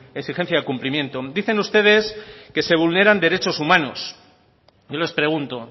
exigencia del cumplimiento dicen ustedes que se vulneran derechos humanos yo les pregunto